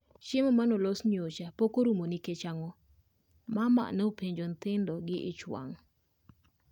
"Chiemo mane olos nyocha pok orumo nikech ang'o?" mama ne openjo nyithindo gi ich wang'